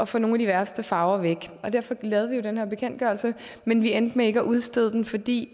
få nogle af de værste farver væk og derfor lavede vi jo den her bekendtgørelse men vi endte med ikke at udstede den fordi